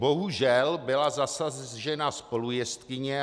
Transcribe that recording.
Bohužel byla zasažena spolujezdkyně.